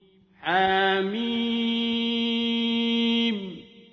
حم